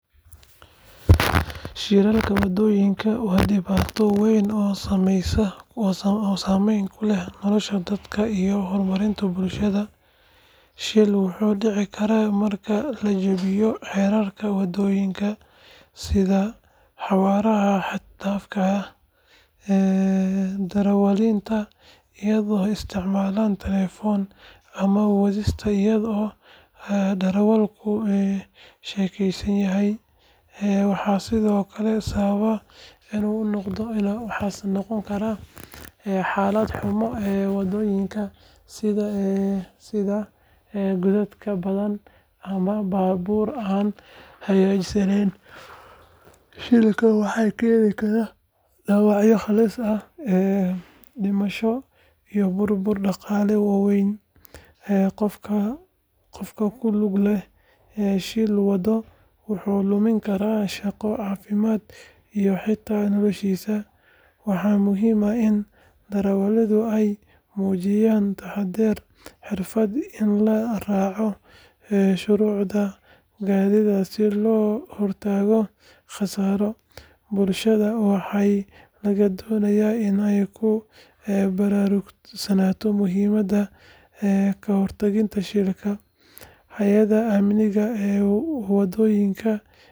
Shilalka waddooyinka waa dhibaato weyn oo saameyn ku leh nolosha dadka iyo horumarka bulshada. Shil wuxuu dhici karaa marka la jabiyo xeerarka waddooyinka sida xawaaraha xad dhaafka ah, darawalnimada iyadoo la isticmaalayo telefoonka, ama wadista iyadoo darawalku sakhraansan yahay. Waxaa sidoo kale sabab u noqon kara xaalad xumo waddooyinka sida godadka badan ama baabuur aan hagaagsaneyn. Shilalka waxay keeni karaan dhaawacyo halis ah, dhimasho iyo burbur dhaqaale oo weyn. Qofka ku lug leh shil waddo wuu lumin karaa shaqo, caafimaad iyo xitaa noloshiisa. Waxaa muhiim ah in darawalladu ay muujiyaan taxaddar, xirfad iyo in la raaco shuruucda gaadiidka si looga hortago khasaaro. Bulshadana waxaa laga doonayaa in ay ku baraarugsanaato muhiimadda ka hortagga shilalka. Hay’adaha amniga wadooyinka iyo caafimaadka waa in ay si joogto ah uga shaqeeyaan wacyigelinta iyo hagaajinta adeegyada degdega ah. Marka shil dhaco, dadaalka degdegga ah ee gurmadka ayaa badbaadin kara naf. Sidaas darteed ka hortagga shilalka waddooyinka waa masuuliyad qof walba ka saaran tahay bulshada dhexdeeda.